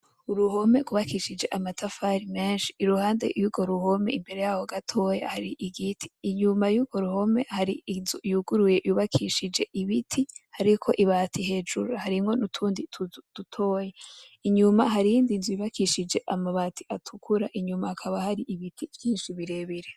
Uruhome rwubakishije amatafari menshi, iruhande yurwo ruhome imbere yaho hari igiti. Inyuma yurwo ruhome hari inzu yuguruye yubakishije ibiti hariko ibati hejuru, harimwo nutundi tuzu dutoyi. Inyuma hari iyindi nzu yubakishije amabati atukura inyuma hakaba hari ibiti vyinshi birebire.